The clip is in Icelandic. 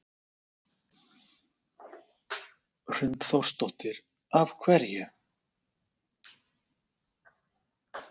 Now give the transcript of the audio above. Hrund Þórsdóttir: Af hverju?